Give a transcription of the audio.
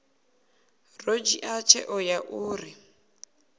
ḓo dzhia tsheo ya uri